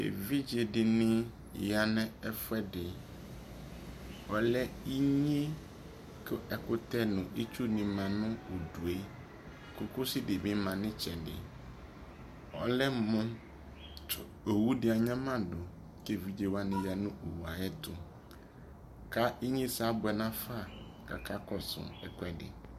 ɛvidzɛ dini yanʋ ɛƒʋɛdi, ɔlɛ inyɛ kʋ ɛkʋtɛ nʋ itsʋ dini manʋ ʋdʋ, kɔkɔsi dibi manʋ ɛtsɛdɛ, ɔlɛ mʋ tʋ ɔwʋ di anyama dʋ kʋ ɛvidzɛ wani yanʋ ɔwʋɛ ayɛtʋ, ka inyɛsɛ abʋɛ nʋ aƒa kʋ akakɔsʋ ɛkʋɛdi